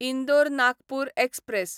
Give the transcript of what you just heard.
Indore Nagpur express